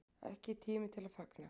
Ekki tími til að fagna